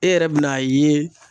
E yɛrɛ be n'a ye